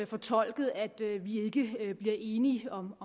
fortolket at vi ikke bliver enige om